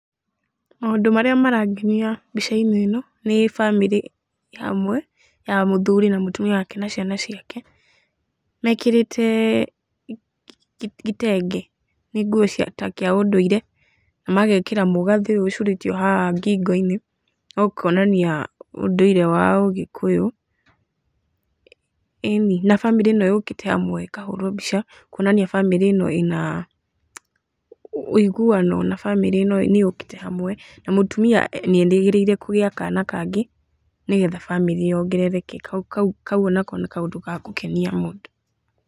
Maũndũ marĩa marangenia mbica-inĩ ĩno, nĩ bamĩrĩ ĩhamwe ya mũthuri na mũtumia wake na ciana ciake, mekĩrĩte kitenge, nĩ nguo ta cia ũndũire, na magekĩra mũgathĩ ũyũ ũcurĩtio haha ngingo-inĩ, wa kuonania ũndũire wa ũgĩkũyũ, ĩni. Na bamĩrĩ ĩ no yũkĩte hamwe, ĩkahũrwo mbica kũonania bamĩrĩ ĩyo ĩrĩ naũigũano na bamĩrĩ ĩno nĩyũkĩte hamwe, na mũtumia nĩ erĩgĩrĩire kũgĩa kana kangĩ, nĩgetha bamĩrĩ yongerereke, kau o nako nĩ kaũndũ gagũkenia mũndũ.